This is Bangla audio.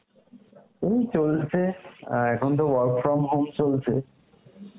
এই চলছে, আহ এখন তো work from home চলছে